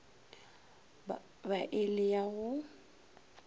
ba e le ya go